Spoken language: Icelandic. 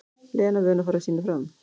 Lena vön að fara sínu fram.